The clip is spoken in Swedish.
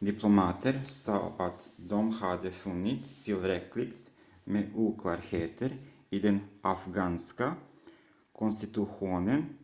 diplomater sa att de hade funnit tillräckligt med oklarheter i den afghanska konstitutionen